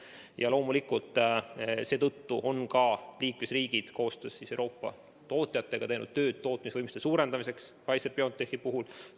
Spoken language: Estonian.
Ja loomulikult, seetõttu on ka liikmesriigid koostöös Euroopa tootjatega teinud tööd, et tootmisvõimsust Pfizer-BioNTechi puhul suurendada.